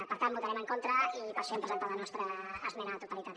per tant votarem en contra i per això hem presentat la nostra esmena a la totalitat